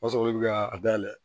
O b'a sɔrɔ olu bɛ ka a dayɛlɛ